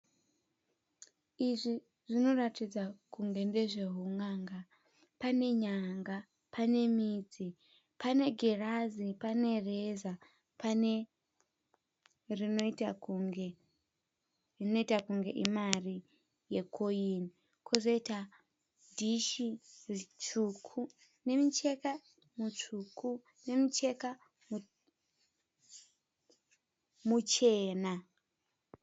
Izvi zvinoratidza kunge ndezve hun'anga. Pane nyanga, pane midzi, pane girazi, pane reza, pane rinoita kunge imari ye koini . Kozoita dhishi ritsvuku nemucheka mutsvuku nemucheka muchena.